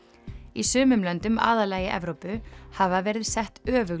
í sumum löndum aðallega í Evrópu hafa verið sett öfug